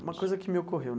Uma coisa que me ocorreu.